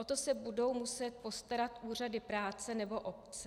O to se budou muset postarat úřady práce nebo obce.